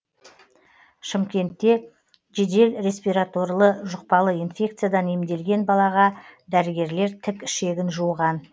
шымкентте жедел респираторлы жұқпалы инфекциядан емделген балаға дәрігерлер тік ішегін жуған